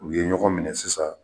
U ye ɲɔgɔn minɛ sisan.